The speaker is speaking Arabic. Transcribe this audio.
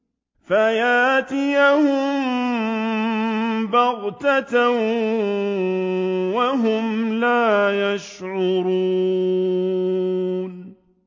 فَيَأْتِيَهُم بَغْتَةً وَهُمْ لَا يَشْعُرُونَ